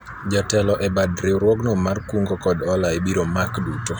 jotelo e bad riwruogno mar kungo kod hola ibiro mak duto